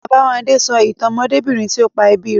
Babáwándé sọ ìtàn ọmọdébìnrin tí ó pa ẹbí rẹ̀